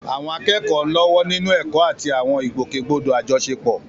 Àwọn akẹ́kọ̀ọ́ ń lọ́wọ́ nínú ẹ̀kọ́ àti àwọn ìgbòkègbodò àjọṣepọ̀.